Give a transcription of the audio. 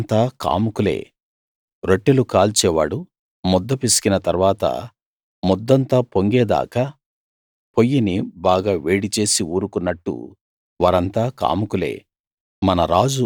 వారంతా కాముకులే రొట్టెలు కాల్చే వాడు ముద్ద పిసికిన తరువాత ముద్దంతా పొంగే దాకా పొయ్యిని బాగా వేడిచేసి ఊరుకున్నట్టు వారంతా కాముకులే